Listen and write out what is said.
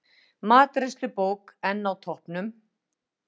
Matreiðslubók enn á toppnum